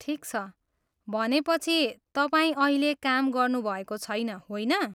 ठिक छ। भनेपछि, तपाईँ अहिले काम गर्नुभएको छैन, होइन?